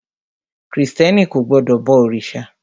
Krìstẹ́ni kò gbọdọ̀ bọ òrìṣà.